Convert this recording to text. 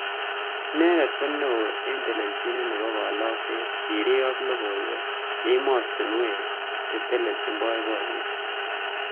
Inendet ko neo eng telejinet nebo kalakset, sirik ab lokoiwek ak imostunwek cheteleljin boiboyet.